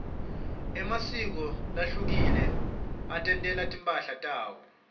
emasiko lahlukile atentela timphahla tawo